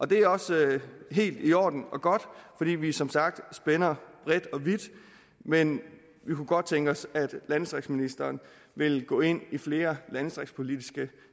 det er også helt i orden og godt fordi vi som sagt spænder bredt og vidt men vi kunne godt tænke os at landdistriktsministeren ville gå ind i flere landdistriktspolitiske